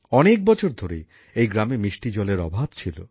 অনেক বছর ধরেই এই গ্রামে মিষ্টি জলের অভাব ছিল